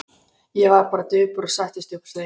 Ég varð bara döpur og settist upp á stein.